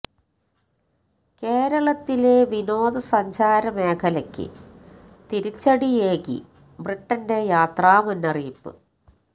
കേരളത്തിലെ വിനോദ സഞ്ചാര മേഖലക്ക് തിരിച്ചടിയേകി ബ്രിട്ടന്റെ യാത്രാ മുന്നറിയിപ്പ്